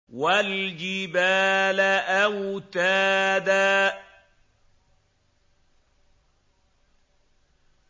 وَالْجِبَالَ أَوْتَادًا